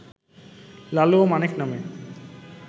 লালু ও মানিক নামে